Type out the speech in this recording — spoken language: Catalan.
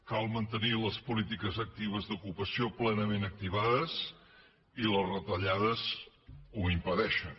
cal mantenir les polítiques actives d’ocupació plenament activades i les retallades ho impedeixen